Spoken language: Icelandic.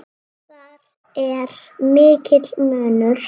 Þar er mikill munur.